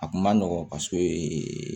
A kun ma nɔgɔn paseke